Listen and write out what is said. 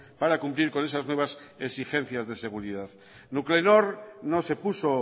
para cumplir con esas nuevas exigencias de seguridad nuclenor no se puso